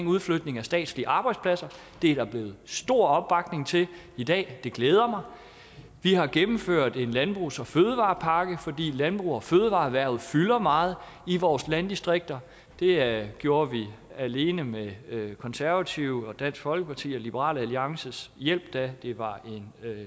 udflytning af statslige arbejdspladser det er der blevet stor opbakning til i dag og det glæder mig vi har gennemført en landbrugs og fødevarepakke fordi landbrugs og fødevareerhvervet fylder meget i vores landdistrikter det gjorde vi alene med konservative dansk folkeparti og liberal alliances hjælp da det var